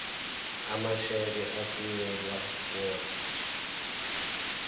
amasheke athunyelwa odwa